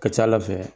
Ka ca ala fɛ